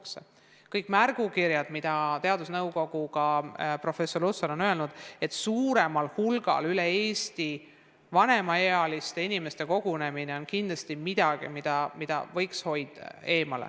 Kõikides teadusnõukoja märgukirjades – ja professor Lutsar on seda ka eraldi kinnitanud – on öeldud, et suuremal hulgal vanemaealiste inimeste kogunemine on kindlasti midagi, millest võiks hoiduda.